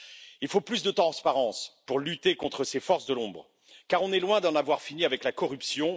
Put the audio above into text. Il faut plus de transparence pour lutter contre ces forces de l'ombre, car on est loin d'en avoir fini avec la corruption